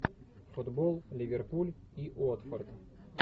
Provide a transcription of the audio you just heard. футбол ливерпуль и уотфорд